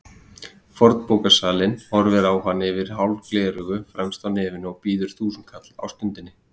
Fornbókasalinn horfir á hann yfir hálf gleraugu fremst á nefinu og býður þúsundkall á stundinni.